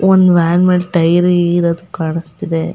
ಒಂದು ವ್ಯಾನ್ ಮೇಲೆ ಟೈಯರ್ ಇರೋದು ಕಾಣಿ ಸ್ತಿದೆ.